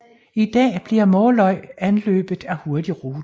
I dag bliver Måløy anløbet af Hurtigruten